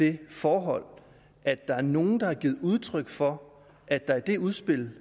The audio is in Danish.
det forhold at der er nogen der har givet udtryk for at der i det udspil